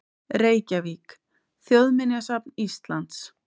Reykjavík: Þjóðminjasafn Íslands.